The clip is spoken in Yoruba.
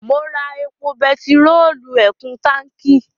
Mo ra epo bẹtiróòlù ẹ̀kún táǹkí.